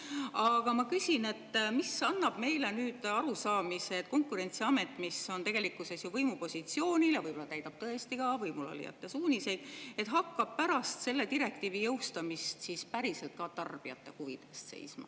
Aga ma küsin, mis annab meile nüüd arusaamise, et Konkurentsiamet, mis on tegelikkuses võimupositsioonil ja võib-olla täidab tõesti ka võimulolijate suuniseid, hakkab pärast selle direktiivi jõustumist siis päriselt ka tarbijate huvide eest seisma.